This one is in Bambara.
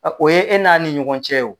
O ye e n'a ni ɲɔgɔn cɛw.